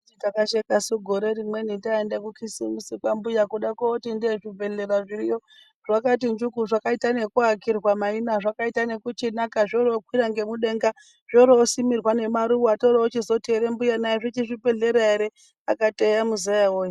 Takashekasu gore imweni taende kukhisimusi kwambuya. Kude kooti ndee zvibhedhlera zviriyo zvakati njuku. Zvakaite nekuakirwa maina, zvoroochinaka, zvaite ekuakirwe nemudenga, zvoroosimirwe nemaruwa. Ndochoochizoti kuna mbuya, zvichiri zvibhedhlera ere? Vakati eya muzaya woye.